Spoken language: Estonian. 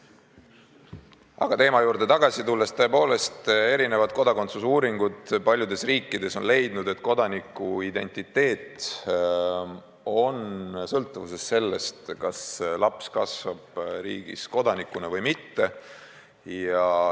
Ent teema juurde tagasi tulles, tõepoolest, kodakondsuse uuringutes paljudes riikides on leitud, et kodanikuidentiteet on sõltuvuses sellest, kas laps kasvab riigis kodanikuna või mitte.